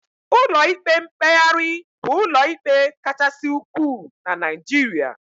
Ụlọ ikpe mkpegharị bụ ụlọ ikpe kachasị ukwuu na Naijiria